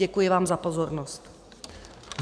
Děkuji vám za pozornost.